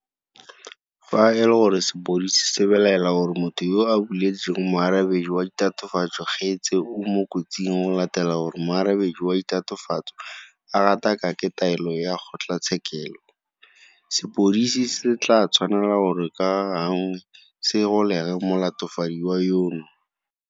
Fa e le gore sepodisi se belaela gore motho yo a buletseng moarabedi wa ditatofatso kgetse o mo kotsing go latela gore moarabedi wa ditatofatso a gatakake taelo ya kgotlatshekelo, sepodisi se tla tshwanela gore ka gangwe se golege molatofadiwa yono.